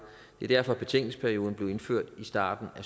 det er derfor betænkningsperioden blev indført i starten af